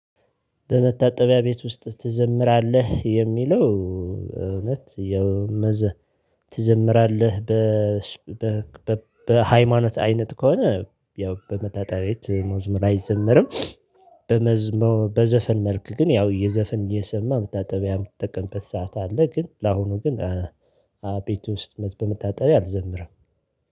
በመታጠቢያ ቤት ውስጥ ትዘምራለህ? የሚለው እውነት ያው መዘ ትዘምራለህ በ በ በ ሃይማኖት አይነት ከሆነ ያው በመታጣቢያ ቤት መዝሙር አይዘመርም። በመዝሙር በዘፈን መልክ ግን ያው የዘፈን እየሰማ መታጠቢያ የምትጠቀምበት ሰዓት አለ። ግን ለአሁኑ ግን ቤት ውስጥ በመታጠቢያ አልዘምርም